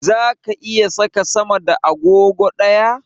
Zaka iya saka sama da agogo ɗaya?